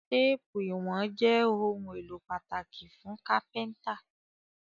Téèpù ìwọ̀n jé òun èló pàtàkì fún kápẹ́ńtà